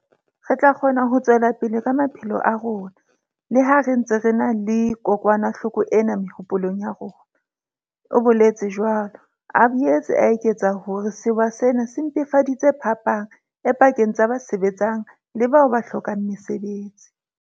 Re tla kgona ho tswela pele ka maphelo a rona, le ha re ntse re na le kokwanahloko ena mehopolong ya rona, o boletse jwalo, a boetse a eketsa hore sewa sena se mpefaditse phapang e pakeng tsa ba sebetsang le bao ba hlokang mesebetsi.